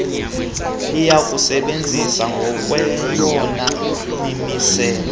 liyakusebenza ngokweyona mimiselo